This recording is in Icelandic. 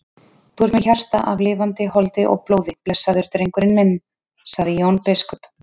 Þú ert með hjarta af lifandi holdi og blóði blessaður drengurinn minn, sagði Jón biskup.